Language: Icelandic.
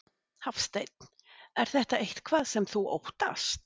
Hafsteinn: Er þetta eitthvað sem þú óttast?